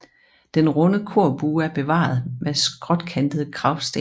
Den runde korbue er bevaret med skråkantede kragsten